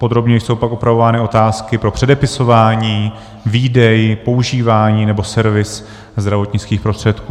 Podrobněji jsou pak upravovány otázky pro předepisování, výdej, používání nebo servis zdravotnických prostředků.